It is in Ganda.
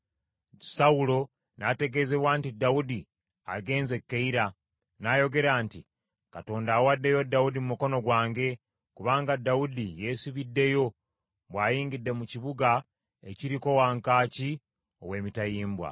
Sawulo n’ategeezebwa nti Dawudi agenze e Keyira, n’ayogera nti, “Katonda awaddeyo Dawudi mu mukono gwange, kubanga Dawudi yesibiddeyo, bw’ayingidde mu kibuga ekiriko wankaaki ow’emitayimbwa.”